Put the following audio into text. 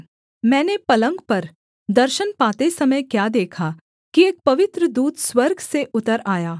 मैंने पलंग पर दर्शन पाते समय क्या देखा कि एक पवित्र दूत स्वर्ग से उतर आया